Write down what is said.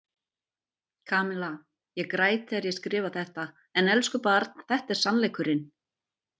Kamilla, ég græt þegar ég skrifa þetta en elsku barn þetta er sannleikurinn.